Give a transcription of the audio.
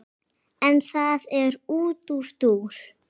en það er nú útúrdúr